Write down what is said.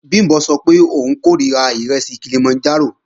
Bìmbọ́ sọ pé òun kòríra ìrẹsì Kilimanjaro